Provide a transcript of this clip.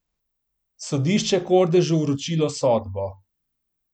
Sodišče Kordežu vročilo sodbo.